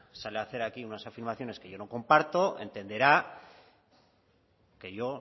sale a hacer aquí unas afirmaciones que yo no comparto entenderá que yo